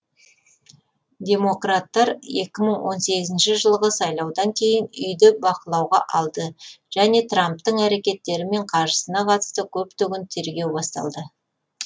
демократтар екі мың он сегізінші жылғы сайлаудан кейін үйді бақылауға алды және трамптың әрекеттері мен қаржысына қатысты көптеген тергеулер бастады